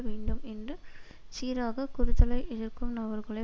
வேண்டும் என்று சீராக குறுதலை எதிர்க்கும் நபர்களை